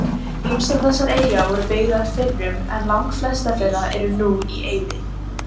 Ýmsar þessara eyja voru byggðar fyrrum en langflestar þeirra eru nú í eyði.